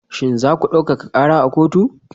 Shin za ku daukaka kara a kotu?